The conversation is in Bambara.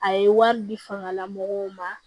A ye wari di fangalamɔgɔw ma